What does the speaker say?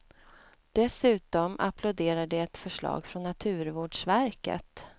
Dessutom applåderar de ett förslag från naturvårdsverket.